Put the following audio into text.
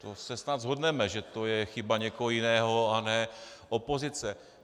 To se snad shodneme, že to je chyba někoho jiného, a ne opozice.